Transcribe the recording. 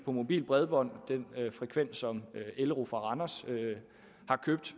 mobilt bredbånd som elro fra randers har købt